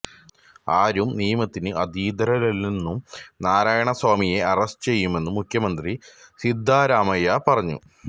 ആരും നിയമത്തിന് അതീതരല്ലെന്നും നാരയണസ്വാമിയെ അറസ്റ്റ് ചെയ്യുമെന്നും മുഖ്യമന്ത്രി സിദ്ധരാമയ്യ പറഞ്ഞു